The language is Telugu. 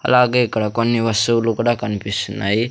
అలాగే ఇక్కడ కొన్ని వస్తువులు కూడా కనిపిస్తున్నాయి.